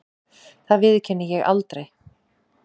Það viðurkenni ég aldrei.